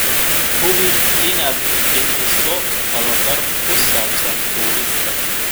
Hubi inaad bixiso tababar ku saabsan duubista.